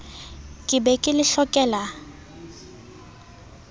ke be ke le hlokela